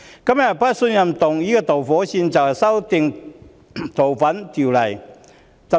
這次不信任議案的導火線是《逃犯條例》修訂。